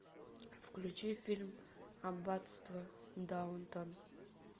включи фильм аббатство даунтон